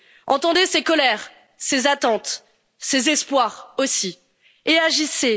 Entendez ces colères, ces attentes, ces espoirs, aussi, et agissez.